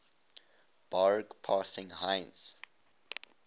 barge passing heinz